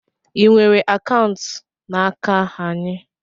I nwere akaụntụ n'aka anyị?